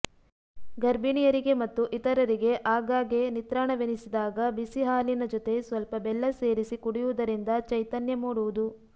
ಗರ್ಭಿಣಿಯರಿಗೆ ಮತ್ತು ಇತರರಿಗೆ ಆಗಾಗ್ಗೆ ನಿತ್ರಾಣವೆನಿಸಿದಾಗ ಬಿಸಿ ಹಾಲಿನ ಜೊತೆ ಸ್ವಲ್ಪ ಬೆಲ್ಲ ಸೇರಿಸಿ ಕುಡಿಯುವುದರಿಂದ ಚೈತನ್ಯ ಮೂಡುವುದು